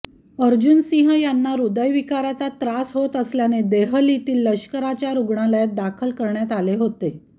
अर्जन सिंह यांना हृदयविकाराचा त्रास होत असल्याने देहलीतील लष्कराच्या रुग्णालयात दाखल करण्यात आले होते